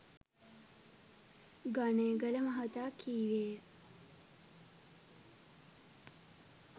ගනේගල මහතා කීවේය.